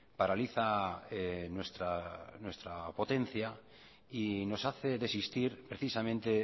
paraliza nuestra potencia y nos hace desistir precisamente